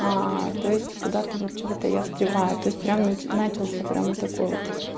то есть куда-то вот чего-то я встреваю то есть прям начался прям вот такой вот